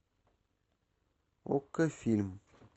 окко фильм